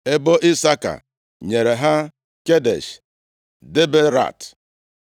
Ebo Isaka nyere ha Kedesh, Daberat,